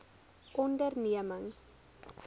ondernemings